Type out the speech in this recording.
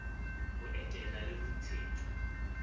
ho eteletsa le ho ntshetsa